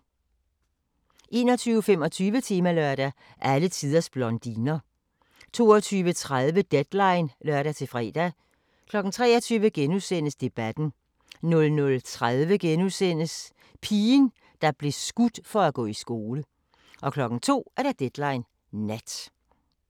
21:25: Temalørdag: Alle tiders blondiner 22:30: Deadline (lør-fre) 23:00: Debatten * 00:30: Pigen, der blev skudt for at gå i skole * 02:00: Deadline Nat